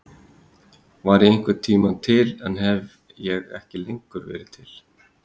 Var ég einhvern tíma til en hef ég ekki lengur verið til?